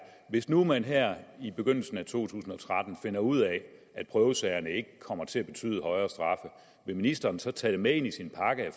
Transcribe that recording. hvis nu man her i begyndelsen af to tusind og tretten finder ud af at prøvesagerne ikke kommer til at betyde højere straffe vil ministeren så tage det med ind i sin pakke